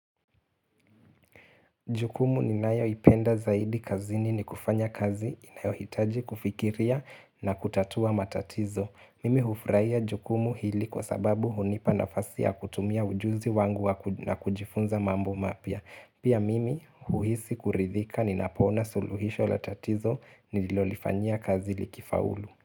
Jukumu ni nayo ipenda zaidi kazini ni kufanya kazi inayohitaji kufikiria na kutatua matatizo. Mimi hufurahia jukumu hili kwa sababu hunipa nafasi ya kutumia ujuzi wangu na kujifunza mambo mapya. Pia mimi huisi kuridhika ni napona suluhisho latatizo nililolifanyia kazi likifa ulu.